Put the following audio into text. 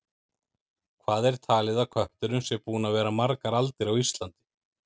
Hvað er talið að kötturinn sé búinn að vera margar aldir á Íslandi?